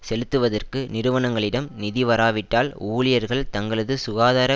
செலுத்துவதற்கு நிறுவனங்களிடம் நிதிவராவிட்டால் ஊழியர்கள் தங்களது சுகாதார